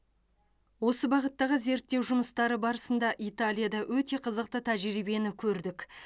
осы бағыттағы зерттеу жұмыстары барысында италияда өте қызықты тәжірибені көрдік